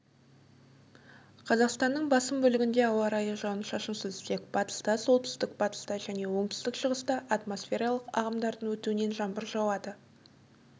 қазақстанның басым бөлігінде ауа райы жауын-шашынсыз тек батыста солтүстік-батыста және оңтүстік-шығыста атмосфералық ағымдардың өтуінен жаңбыр жауады